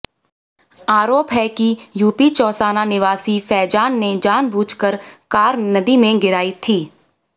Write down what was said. आरोप है कि यूपी चौसाना निवासी फैजान ने जानबूझकर कार नदी में गिराई थी